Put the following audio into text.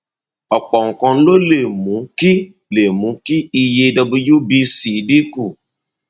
ọpọ nǹkan ló lè mú kí lè mú kí iye wbc dín kù